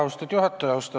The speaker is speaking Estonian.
Austatud juhataja!